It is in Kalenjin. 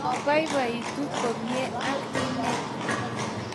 Ko baibaitu komie ak inne